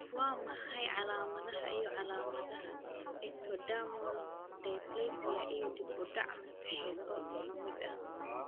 Waa maxay calaamadaha iyo calaamadaha Ectodermal dysplasia ee dib u dhac maskaxeed oo isku mid ah?